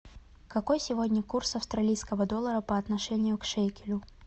какой сегодня курс австралийского доллара по отношению к шекелю